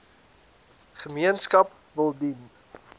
gemeenskap wil dien